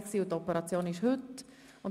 Die Operation findet heute statt.